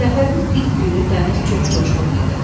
Səfərin ilk günü dəniz çox coşqun idi.